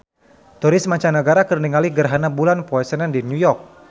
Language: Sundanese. Turis mancanagara keur ningali gerhana bulan poe Senen di New York